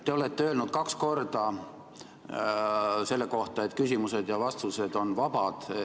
Te olete öelnud kaks korda, et küsimused ja vastused on vabad.